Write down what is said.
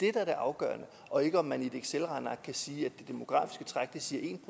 er det afgørende og ikke om man i et excelregneark kan sige at det demografiske træk siger en